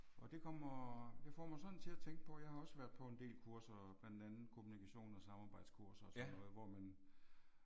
Og det kommer det får mig sådan til at tænke på jeg har også været på en del kurser blandt andet kommunikation og samarbejdskurser og sådan noget hvor man